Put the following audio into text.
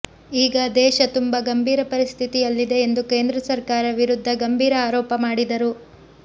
ಈಗ ದೇಶ ತುಂಬಾ ಗಂಭೀರ ಪರಿಸ್ಥಿತಿಯಲ್ಲಿದೆ ಎಂದು ಕೇಂದ್ರ ಸರ್ಕಾರ ವಿರುದ್ಧ ಗಂಭೀರ ಆರೋಪ ಮಾಡಿದರು